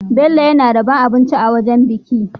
Bello yAna rabon abinci a wajan biki